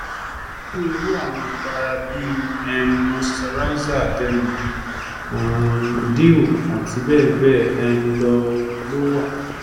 onírúurú awọn ipara bii um moisturizer derma; um dew àti bẹ́ẹ̀bẹ́ẹ̀ um lọ ló wa